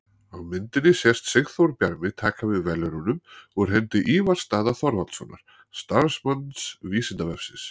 Á myndinni sést Sigþór Bjarmi taka við verðlaununum úr hendi Ívars Daða Þorvaldssonar, starfsmanns Vísindavefsins.